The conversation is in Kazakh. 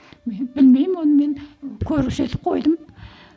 мен білмеймін оны мен көрсетіп қойдым